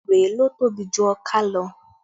Erè ló tóbi jù ọká lọ